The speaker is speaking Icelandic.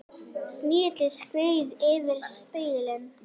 Snigillinn skreið yfir spegilinn.